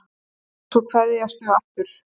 Svo kveðjast þau aftur.